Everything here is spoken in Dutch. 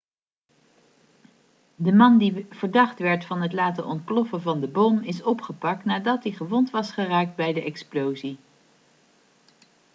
de man die verdacht werd van het laten ontploffen van de bom is opgepakt nadat hij gewond was geraakt bij de explosie